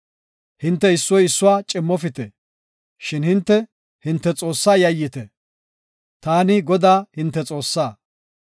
Hinte issoy issuwa cimmofite; shin hinte, hinte Xoossaa yayyite. Taani Godaa, hinte Xoossaa.